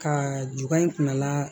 Ka juga in kunnala